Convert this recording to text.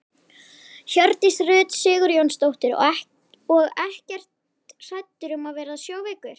Hjördís Rut Sigurjónsdóttir: Og ekkert hræddur um að verða sjóveikur?